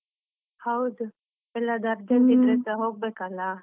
ಹೌದು. ಎಲ್ಲಾದ್ರೂ urgent ಇದ್ರೆಸ ಹೋಗ್ಬೇಕಲಾ.